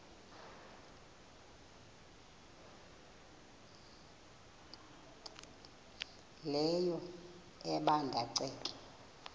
leyo ebanda ceke